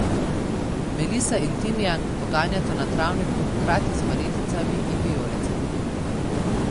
Melisa in timijan poganjata na travniku hkrati z marjeticami in vijolicami.